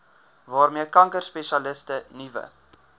waarmee kankerspesialiste nuwe